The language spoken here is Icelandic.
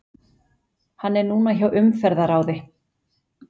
Hann er núna hjá Umferðarráði.